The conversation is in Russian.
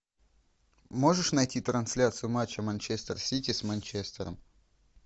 можешь найти трансляцию матча манчестер сити с манчестером